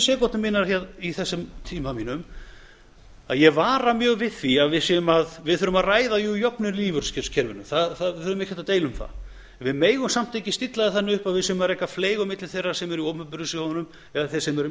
sekúndur í þessum tíma mínum að ég vara mjög við því að við þurfum að ræða jöfnuð í lífeyriskerfinu við þurfum ekkert að deila um það en við megum samt ekki stilla því þannig upp að við séum að reka fleyg á milli þeirra sem eru í opinberu sjóðunum eða þeirra sem eru í